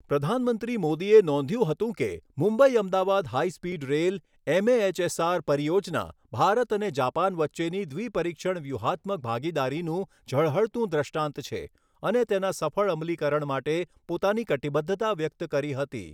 પ્રધાનમંત્રી મોદીએ નોંધ્યું હતું કે, Mumbai Ahmedabad high speed rail MAHSR પરિયોજના ભારત અને જાપાન વચ્ચેની દ્વિપરીક્ષણ વ્યૂહાત્મક ભાગીદારીનું ઝળહળતું દૃષ્ટાંત છે અને તેના સફળ અમલીકરણ માટે પોતાના કટિબદ્ધતા વ્યક્ત કરી હતી.